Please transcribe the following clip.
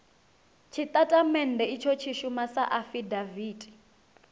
tshitatamennde itsho tshi shuma sa afidaviti